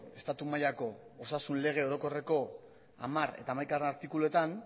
estatu mailako osasun lege orokorreko hamar eta hamaikagarrena artikuluetan